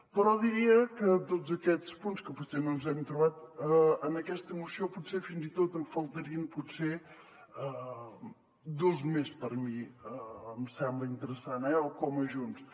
però diria que de tots aquests punts que potser no ens hem trobat en aquesta moció potser fins i tot en faltarien dos més per mi em sembla interessant eh o com a junts